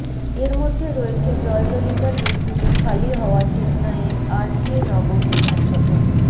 এর মধ্যে রয়েছে জয়ললিতার মৃত্যুতে খালি হওয়া চেন্নাইয়ের আরকে নগর বিধানসভা